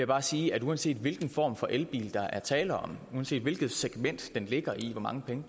bare sige at uanset hvilken form for elbil der er tale om uanset hvilket segment den ligger i hvor mange penge